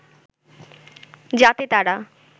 যাতে তারা